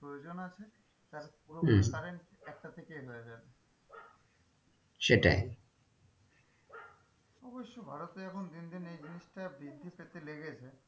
প্রয়োজন আছে তার পুরোপুরি হম current একটা থেকে এলোএদের সেটাই অবশ্য ভারতে এখন দিন দিন এই জিনিসটা বৃদ্ধি পেতে লেগেছে,